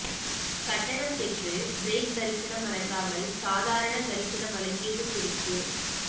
கட்டணம் பெற்று பிரேக் தரிசனம் வழங்காமல் சாதாரண தரிசனம் வழங்கியது குறித்து